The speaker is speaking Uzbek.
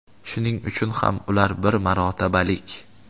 Shuning uchun ham ular bir marotabalik.